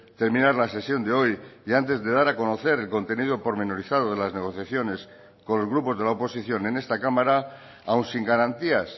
terminar la sesión de hoy y antes de dar a conocer el contenido pormenorizado de las negociaciones con los grupos de la oposición en esta cámara aun sin garantías